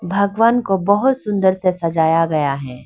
भगवान को बहुत सुंदर से सजाया गया है।